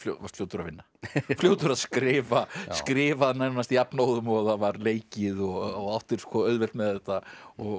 varst fljótur að vinna fljótur að skrifa skrifa nánast jafnóðum og það var leikið og áttir auðvelt með þetta og